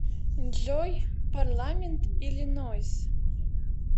джой парламент иллинойс